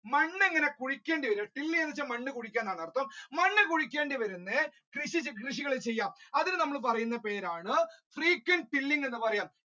മണ്ണ് ഇങ്ങനെ കുഴിക്കണ്ടി വരും drill ചെയ്യാ എന്ന് വെച്ച മണ്ണ് കുഴിക്കുക എന്നാണ് അർഥം മണ്ണ് കുഴിക്കണ്ടി വരും കൃഷികൾ ചെയ്യാം അതിന് നമ്മൾ പറയുന്ന പേരാണ് frequent tilling എന്ന് പറയുക.